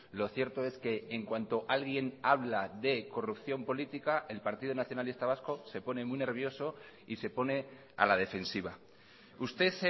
lo cierto es que en cuanto alguien habla de corrupción política el partido nacionalista vasco se pone muy nervioso y se pone a la defensiva usted